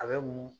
A bɛ mun